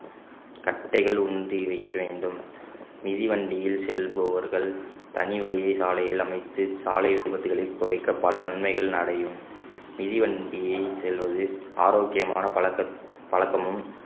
கட்டைகள் ஊன்றி வைக்க வேண்டும் மிதிவண்டியில் செல்பவர்கள் தனி வழியே சாலையில் அமைத்து சாலை விபத்துகளை குறைக்க பல நன்மைகள் அடையும் மிதிவண்டியில் செல்வது ஆரோக்கியமான பழக்~ பழக்கமும்